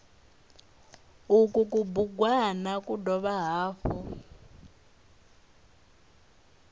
uku kubugwana ku dovha hafhu